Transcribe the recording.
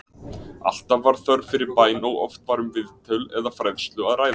Alltaf var þörf fyrir bæn og oft var um viðtöl eða fræðslu að ræða.